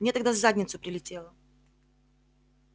мне тогда в задницу прилетело